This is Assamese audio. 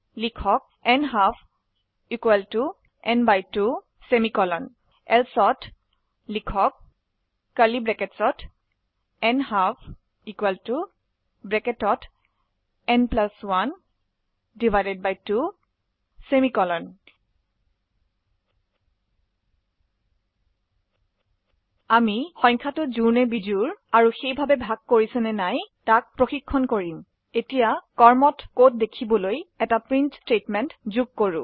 লিখক ন্হাল্ফ n 2 এলছে ন্হাল্ফ ন 1 2 আমি সংখ্যাটি জোড় না বিজোড় আৰু সেইভাবে ভাগ কৰিছে নে নাই তাক প্ৰশিক্ষন কৰিম এতিয়া কৰ্মত কোড দেখিবলৈ এটি প্ৰিন্ট স্টেটমেন্ট যোগ কৰো